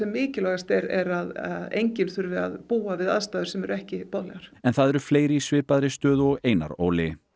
mikilvægasta er að enginn þurfi að búa við aðstæður sem ekki boðlegar en það eru fleiri í svipaðri stöðu og Einar Óli